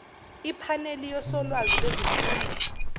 iphaneli yosolwazi bezemfundo